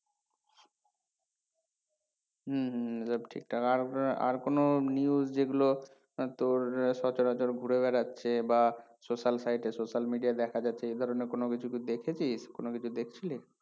হুম হুম সব ঠিকঠাক আর আর কোনো news যেগুলো উম তোর সচরাচর ঘুরে বেড়াচ্ছে বা social site এ social media আয় দেখা যাচ্ছে এই ধরণের কোনো কিছু তুই দেখেছিস কোনো কিছু দেখছিলি